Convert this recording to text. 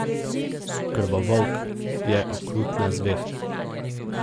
Krvovolk je okrutna zver.